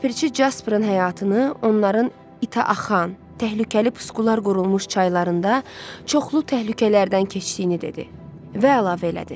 Ləpirçi Jasprın həyatını onların ita axan, təhlükəli puskular qurulmuş çaylarında çoxlu təhlükələrdən keçdiyini dedi və əlavə elədi: